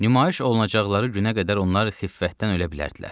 Nümayiş olunacaqları günə qədər onlar xiffətdən ölə bilərdilər.